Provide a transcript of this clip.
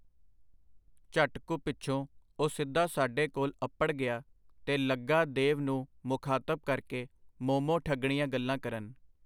ਝਟ ਕੁ ਪਿਛੋਂ ਉਹ ਸਿੱਧਾ ਸਾਡੇ ਕੋਲ ਅੱਪੜ ਗਿਆ ਤੇ ਲੱਗਾ ਦੇਵ ਨੂੰ ਮੁਖਾਤਬ ਕਰਕੇ ਮੋਮੋ-ਠੱਗਣੀਆਂ ਗੱਲਾਂ ਕਰਨ.